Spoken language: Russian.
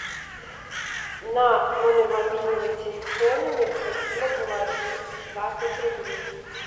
на номер мобильного телефона необходимо положить двадцать рублей